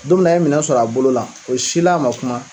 Don minna an ye minɛn sɔrɔ a bolo la o si la a ma kuma.